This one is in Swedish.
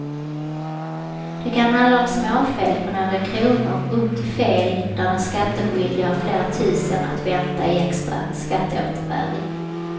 Det kan handla om småfel på några kronor upp till fel där den skattskyldige har flera tusen att vänta i extra skatteåterbäring.